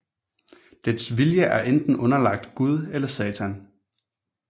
Dets vilje er enten underlagt Gud eller Satan